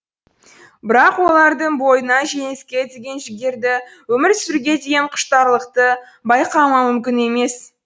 бірақ олардың бойынан жеңіске деген жігерді өмір сүруге деген құштарлықты байқамау мүмкін емес